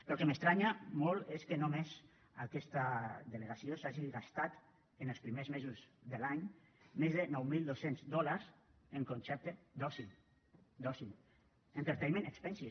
però el que m’estranya molt és que només aquesta delegació s’hagi gastat els primers mesos de l’any més de nou mil dos cents dòlars en concepte d’oci d’oci entertainment expenses